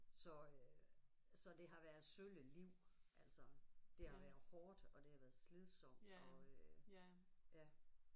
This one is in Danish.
Så øh så det har været et sølle liv altså det har været hårdt og det har været slidsomt og øh ja